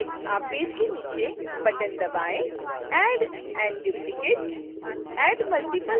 इसके अतिरिक्त आप पेज की नीचे बटन